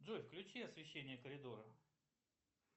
джой включи освещение коридора